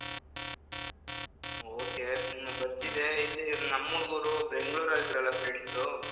Ok hmm ಬರ್ತಿದ್ದೆ ಇಲ್ಲಿ ನಮ್ ಹುಡುಗ್ರು Bangalore ಅಲ್ಲಿ ಇದ್ರಲ್ಲ friends .